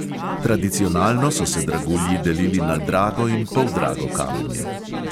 Tradicionalno so se dragulji delili na drago in poldrago kamenje.